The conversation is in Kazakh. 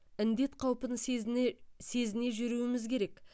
індет қаупін сезіне сезіне жүруіміз керек